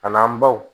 A n'an baw